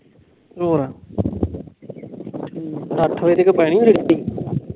ਅੱਠ ਵਜੇ ਤਕ ਪੈਣੀਉ ਰੇਤੀ